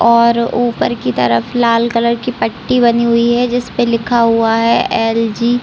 और ऊपर की तरफ लाल कलर की पट्टी बंधी हुई है जिसपे लिखा हुआ है एल जी --